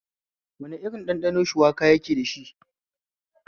Wane irin ɗanɗano shuwaka yake dashi?